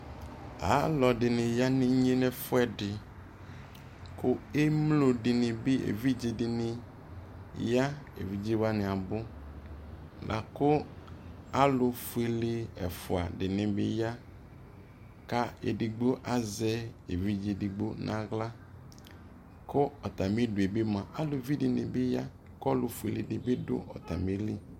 alɔdini yanʋ inyʒ nʋ ʒfuʒdi, kʋ ʒmlɔ dini bi ʒvidzʒ ya, ʒvidzʒ wani abu, lakʋ alʋfuʒlʒ ʒfʋa dini bi ya, kʋ ʒdigbo azʒ ʒvidzʒ ʒdigbo nʋ ala kʋ atami du ɛ bi mʋa aluvi dini bi ya, kʋ alʋfʋʒlʒ dibi ya nʋ atamili